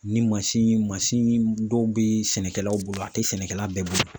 Ni mansin in mansin min dɔw bɛ sɛnɛkɛlaw bolo a tɛ sɛnɛkɛla bɛɛ bolo